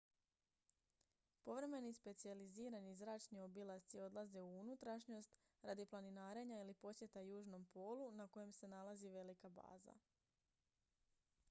povremeni specijalizirani zračni obilasci odlaze u unutrašnjost radi planinarenja ili posjeta južnom polu na kojem se nalazi velika baza